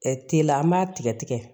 telela an b'a tigɛ tigɛ